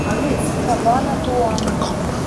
кабанатуан